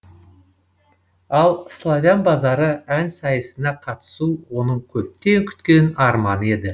ал славян базары ән сайысына қатысу оның көптен күткен арманы еді